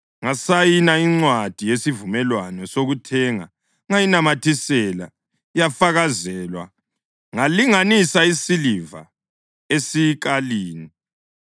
Ngasayina incwadi yesivumelwano sokuthenga ngayinamathisela, yafakazelwa, ngalinganisa isiliva esikalini.